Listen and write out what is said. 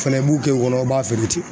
O fɛnɛ b'u kɛ u kɔnɔ b'a feere ten